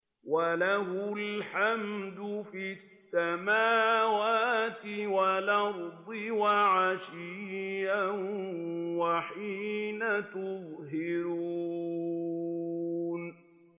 وَلَهُ الْحَمْدُ فِي السَّمَاوَاتِ وَالْأَرْضِ وَعَشِيًّا وَحِينَ تُظْهِرُونَ